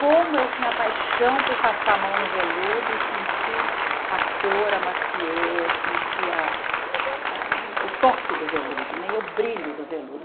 Como eu tinha paixão por passar a mão no veludo e senti a cor, a maciez, sentir a a o toque do veludo né e o brilho do veludo.